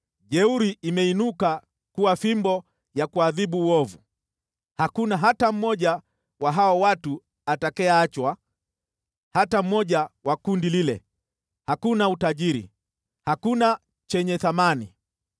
Jeuri imeinuka kuwa fimbo ya kuadhibu uovu, hakuna hata mmoja wa hao watu atakayeachwa, hata mmoja wa kundi lile, hakuna utajiri, hakuna chenye thamani.